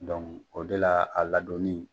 o de la a ladɔnni